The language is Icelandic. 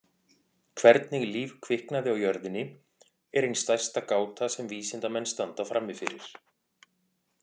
Hvernig líf kviknaði á jörðinni er ein stærsta gáta sem vísindamenn standa frammi fyrir.